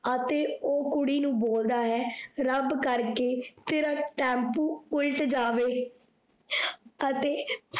ਅਤੇ ਓਹ ਕੁੜੀ ਨੂੰ ਬੋਲਦਾ ਹੈ, ਰੱਬ ਕਰਕੇ ਤੇਰਾ ਟੈਂਪੂ ਉਲਟ ਜਾਵੇ ਅਤੇ